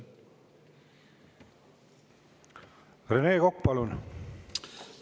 Rene Kokk, palun!